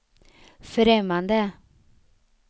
främmande